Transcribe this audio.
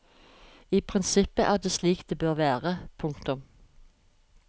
I prinsippet er det slik det bør være. punktum